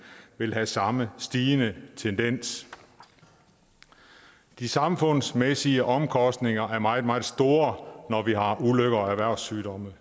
vil have samme stigende tendens de samfundsmæssige omkostninger er meget meget store når vi har ulykker og erhvervssygdomme